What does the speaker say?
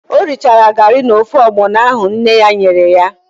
O richaara garị na ofe ọgbọnọ ahụ nne ya nyere ya?